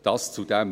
Soweit dazu.